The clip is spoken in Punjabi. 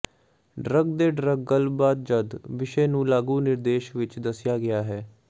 ਡਰੱਗ ਦੇ ਡਰੱਗ ਗੱਲਬਾਤ ਜਦ ਵਿਸ਼ੇ ਨੂੰ ਲਾਗੂ ਨਿਰਦੇਸ਼ ਵਿੱਚ ਦੱਸਿਆ ਗਿਆ ਹੈ